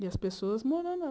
E as pessoas morando.